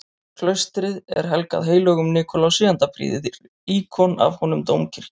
Klaustrið er helgað heilögum Nikulási, enda prýðir íkon af honum dómkirkjuna.